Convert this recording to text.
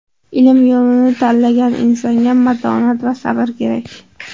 Ilm yo‘lini tanlagan insonga matonat va sabr kerak.